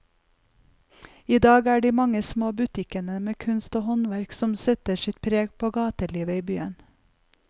I dag er det de mange små butikkene med kunst og håndverk som setter sitt preg på gatelivet i byen.